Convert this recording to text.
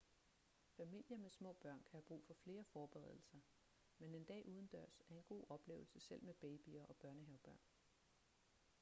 familier med små børn kan have brug for flere forberedelser men en dag udendørs er en god oplevelse selv med babyer og børnehavebørn